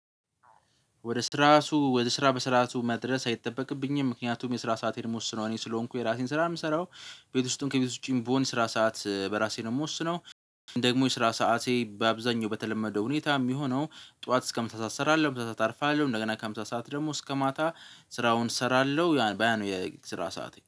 ወደ ስራሱ ወደ ስራ በስራቱ መድረስ አይጠበቅብኝም ምክንያቱም የስራ ሰአቴን ምወስነው እኔ ስለሆንኩ የራሴን ስራ የምሰራው ቤት ውስጥም ከቤት ውጪም ብሆን ስራ ሰዓት በራሴ ደግሞ ወስነው ደግሞ የስራ ሰዓቴ በአብዛኛው በተለመደው ሁኔታ የሚሆነው ጡዋት እስከ ምሳ ሰዓት እሰራለሁ አርፋለሁ እንደገና ከምሳ ሰዓት ደግሞ እስከ ማታ ስራውን እሰራለሁ ያ ነው የስራ ሰዓቴ።